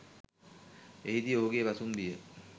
එහිදී ඔහුගෙ පසුම්බිය